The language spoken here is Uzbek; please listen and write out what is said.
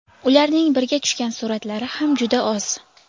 Ularning birga tushgan suratlari ham juda oz.